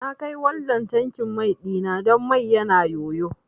Na kai waldan tankin mai ɗina don mai yana yoyo